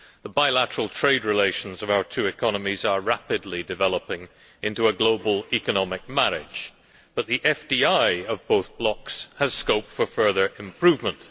The bilateral trade relations of our two economies are rapidly developing into a global economic marriage, but the FDI of both blocs has scope for further improvement.